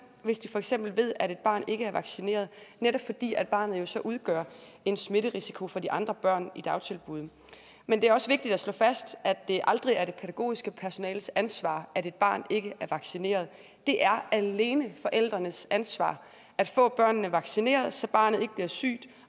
hvis de for eksempel ved at et barn ikke er vaccineret netop fordi barnet jo så udgør en smitterisiko for de andre børn i dagtilbuddet men det er også vigtigt at slå fast at det aldrig er det pædagogiske personales ansvar at et barn ikke er vaccineret det er alene forældrenes ansvar at få barnet vaccineret så barnet ikke bliver sygt